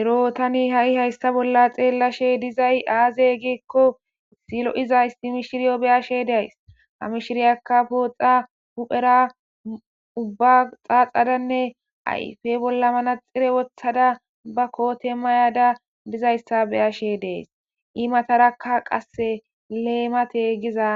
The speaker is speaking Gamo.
Ero tani ha7i haysta bolla xeellashe dizay aaze giekko silo7izaysi mishiriyo beyashe days hamishiriyakka pooxa huphera ubba xaaxadanne ayfe bolla manaxire wothada ba koote mayada dizayssa beyashe dees i matarakka qasse leemate giza